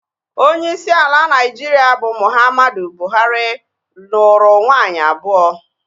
Onyeisi ala Naịjirịa bụ Muhammadu Buhari, nụrụ nwaanyị abụọ